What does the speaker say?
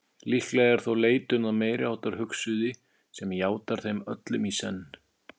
Líklega er þó leitun að meiriháttar hugsuði sem játar þeim öllum í senn.